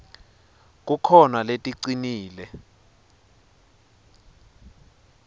kukhona leticinile